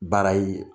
Baara ye